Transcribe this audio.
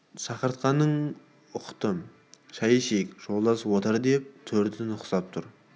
шақыртқанын ұқты шәй ішейік жолдас отыр деді төрді нұсқап тұр бол